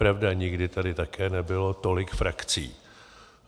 Pravda, nikdy tady také nebylo tolik frakcí.